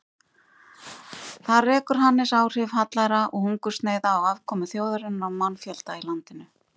Þar rekur Hannes áhrif hallæra og hungursneyða á afkomu þjóðarinnar og mannfjölda í landinu.